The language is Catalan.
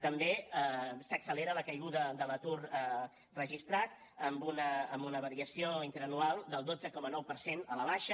també s’accelera la caiguda de l’atur registrat amb una variació interanual del dotze coma nou per cent a la baixa